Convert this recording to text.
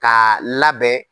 K'a labɛn.